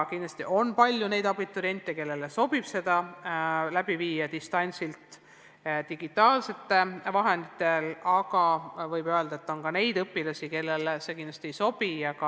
Kahtlemata on palju neid abituriente, kellele sobib selle läbiviimine distantsilt digitaalsete vahendite abil, aga tuleb öelda, et on ka neid õpilasi, kellele see ei sobi.